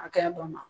Hakɛya dɔ ma